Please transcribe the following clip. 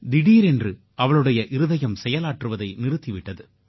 திடீரென்று அவளுடைய இருதயம் செயலாற்றுவதை நிறுத்தி விட்டது